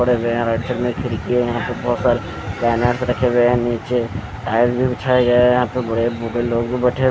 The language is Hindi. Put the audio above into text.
पड़े हुए है खिड़की है यहाँं पे बहुत सारे बैनर्स रखे हुए है नीचे टायल भी बिछाये गए है यहाँं पर बड़े बूढ़े लोग भी बैठे --